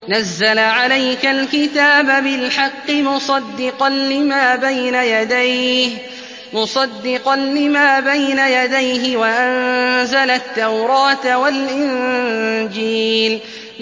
نَزَّلَ عَلَيْكَ الْكِتَابَ بِالْحَقِّ مُصَدِّقًا لِّمَا بَيْنَ يَدَيْهِ وَأَنزَلَ التَّوْرَاةَ وَالْإِنجِيلَ